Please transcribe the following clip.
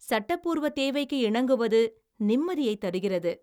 சட்டப்பூர்வ தேவைக்கு இணங்குவது நிம்மதியைத் தருகிறது.